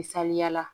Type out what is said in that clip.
Misaliyala